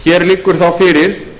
hér liggur þá fyrir